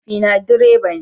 Mahaifina direba ne.